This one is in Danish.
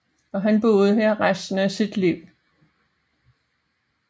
Han boede her resten af sit liv